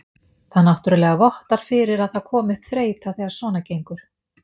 Það náttúrulega vottar fyrir að það komi upp þreyta þegar svona gengur.